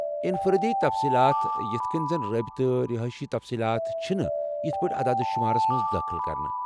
انفرٲدی تفصیٖلات یتھ کٔنۍ زن رٲبطہٕ، رہٲیشی تفصیٖلات چھِنہٕ یتھ پٲٹھۍ عداد شُمارس منز دٲخل كرٕنہِ ۔